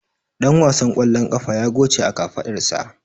Dan wasan ƙwallon ƙafa ya goce a kafadarsa.